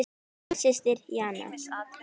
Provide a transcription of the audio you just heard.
Þín systir Jana.